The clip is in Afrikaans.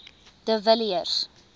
de villiers